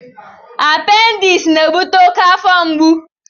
Appendis na-ebute oke afọ mgbu.